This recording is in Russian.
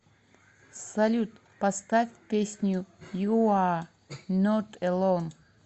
салют поставь песню юа нот элон